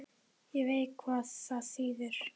Ég veit hvað það þýðir.